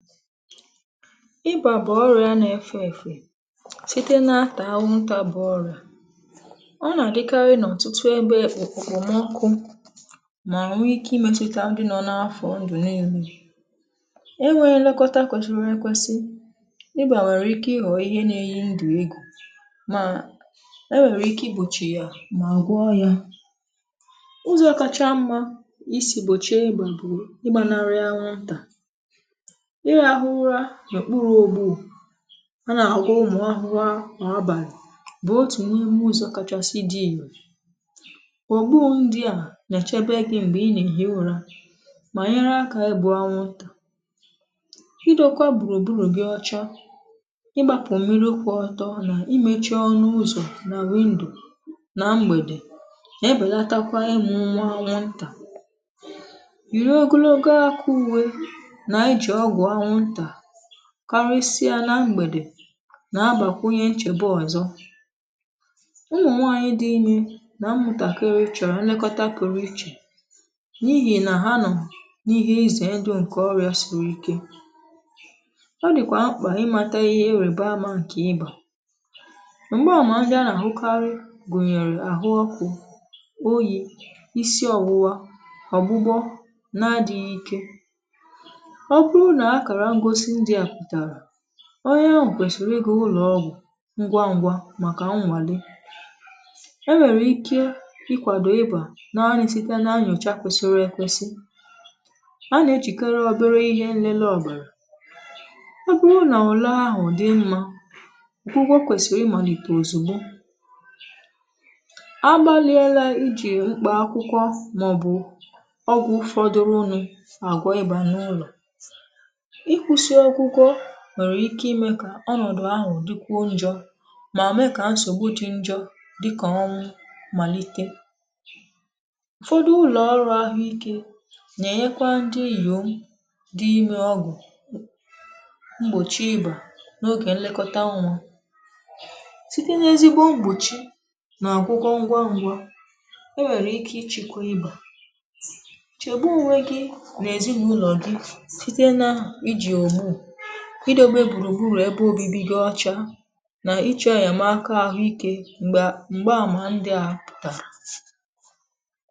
Ịbà bụ̀ ọrịà nà-efè èfè site n’atà àwụ̀ntà bụ̀ ọrịà nà-àdịkarị n’ọ̀tụtụ ebe òkpòmọkụ mà nwe ike imetụ̀tà di nọ n’afọ̀ ndụ̀ niile, ẹnweghị́ elekọta kwesịrị ekwesị, ịbà nwèrè ike ịghọ̀ ihe nà-eyi ndụ̀ egwu mà enwèrè ike igbòchì ya mà gwọọ ya, ụzọ̇ kacha mmà isi gbòchìe ịbà bụ̀ ịgbànarị àwụ̀ntà um irahụ ụra n’okpuru ògbù a nà-àgwọ̀ ụmụ̀ ahụrụ̀a n’abàlị bụ́ otu n’ime ụzọ̇ kacha sie ike, ògbù ndị à nà-echebe gị mgbè i nà-èhi ụra mà nyere aka igbu àwụ̀ntà um ị dọkwa gbùrù gbùrù gị ọcha, ị gbàpụ̀ mmiri kwụ̀ọ ọtọ nà imechi ọnụ ụzọ̀ nà window nà mgbèdè nà ebelatakwa ịmụ̀ nwa àwụ̀ntà, yiwe ogologo àkà uwe nà iji ọgwụ ànwụ̀ntà karịsịa nà mgbèdè nà-àgbàkwunye nchebe ọzọ̇, ụmụ̀nwanyị̇ dị ime nà mmụ̀tàkịrị chọ̀rọ̀ nlekọta pụrụ iche n’ihi nà ha nọ̀ n’ihe ịzè ndụ ǹkè ọrịà siri ike um ọ dị̀kwà mkpà imàtà ihe erí bà àmà nke ịbà, mgbààmà ndị a nà-ahụkarị gụ̀nyèrè àhụ ọkụ̇, oyì, isi ọ̀wụwa, ọ̀gbụgbọ, nà adịghị ike, ọ bụrụ nà akara ngosi ndị a pụtara onye ahụ̀ kwèsìrì ịgà ụlọ̀ ọgwụ̀ ngwa ngwa màkà nwàle, e nwèrè ike ịkwàdò ịbà n’ànị site n’ịnyòchá kwesịrị ekwesị, a nà-echìkere obere ihe nlele ọbàrà, ọ bụrụ nà ule ahụ̀ dị mma, ọgwụgwọ kwèsìrì ịmalite ozigbo um agbaliela iji mkpà akwụkwọ màọbụ̀ ọgwụ̀ ụfọdụ unu àgwọ̀ ịbà nà ụlọ̀, ịkwụsị ọgwụgwọ nwèrè ike ime kà ọnọ̀dụ̀ ahụ̀ dịkwuo njọ mà mee kà nsògbu dị njọ dịkà ọnwụ̀ malite um ụfọdụ ụlọ̀ọrụ̇ ahụike nà-ènyekwa ndị inyòm dị ime ọgwụ mgbòchi ịbà n’ogè nlekọta nwa, site n’ezigbo mgbòchi nà ọgwụgwọ ngwa ngwa e nwèrè ike ichịkwa ịbà, chèbà onwe gị̇ n’ezinụlọ gị site n’iji ògbù, idobe gburugburu ebe obibi gị ọcha, nà ịchọ̇ enyemaka àhụikè mgbè mgbààmà ndị a pụtara.